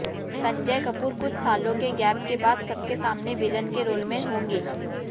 संजय कपूर कुछ सालों के गैप के बाद सबके सामने विलन के रोल में होंगे